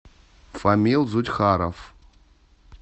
фамил зудьхаров